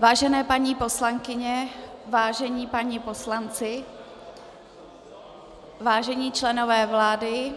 Vážené paní poslankyně, vážení páni poslanci, vážení členové vlády,